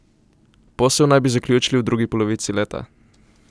Posel naj bi zaključili v drugi polovici leta.